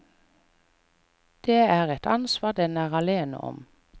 Det er et ansvar den er alene om.